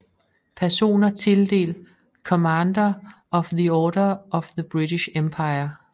Personer tildelt Commander of the Order of the British Empire